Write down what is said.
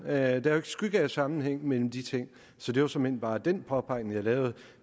er ikke skygge af sammenhæng mellem de ting så det var såmænd bare den påpegning jeg lavede